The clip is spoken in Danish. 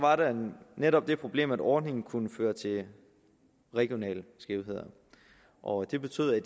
netop det problem at ordningen kunne føre til regionale skævheder og det betød at